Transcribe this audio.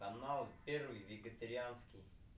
канал первый вегетарианский